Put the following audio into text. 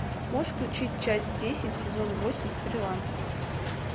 можешь включить часть десять сезон восемь стрела